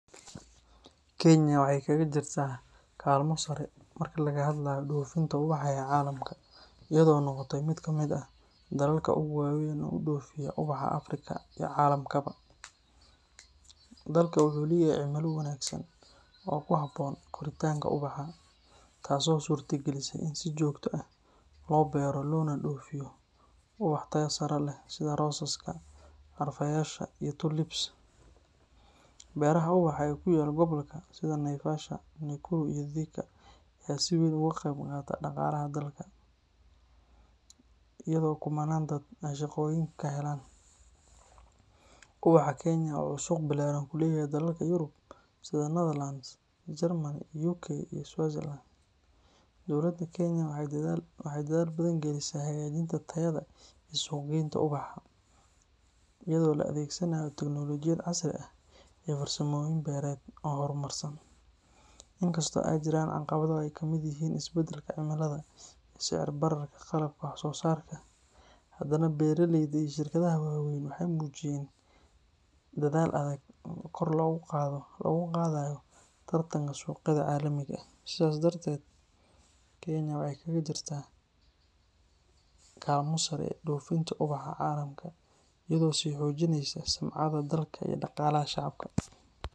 Kenya waxay kaga jirtaa kaalmo sare marka laga hadlayo dofinta ubaxa ee caalamka, iyadoo noqotay mid ka mid ah dalalka ugu waaweyn ee u dhoofiya ubaxa Afrika iyo caalamkaba. Dalka wuxuu leeyahay cimilo wanaagsan oo ku habboon koritaanka ubaxa, taas oo suurta gelisay in si joogto ah loo beero loona dhoofiyo ubax tayo sare leh sida rosaska, carfayaasha iyo tulips. Beeraha ubaxa ee ku yaal gobollada sida Naivasha, Nakuru iyo Thika ayaa si weyn uga qayb qaata dhaqaalaha dalka, iyadoo kumannaan dad ah ay shaqooyin ka helaan. Ubaxa Kenya waxa uu suuq ballaaran ku leeyahay dalalka Yurub sida Netherlands, Germany, UK iyo Switzerland. Dowladda Kenya waxay dadaal badan gelisaa hagaajinta tayada iyo suuq-geynta ubaxa, iyadoo la adeegsanayo tiknoolajiyad casri ah iyo farsamooyin beereed oo horumarsan. Inkastoo ay jiraan caqabado ay ka mid yihiin isbeddelka cimilada iyo sicir-bararka qalabka wax-soo-saarka, haddana beeraleyda iyo shirkadaha waaweyn waxay muujiyeen dadaal adag oo kor loogu qaadayo tartanka suuqyada caalamiga ah. Sidaas darteed, Kenya waxay kaga jirtaa kaalmo sare dofinta ubaxa caalamka, iyadoo sii xoojinaysa sumcadda dalkeeda iyo dhaqaalaha shacabka.